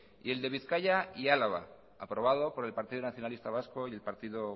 y el de bizkaia y álava aprobado por el partido nacionalista vasco y el partido